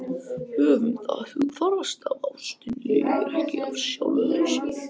Höfum það alltaf hugfast að ástin lifir ekki af sjálfri sér.